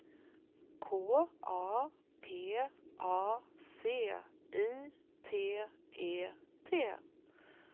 K A P A C I T E T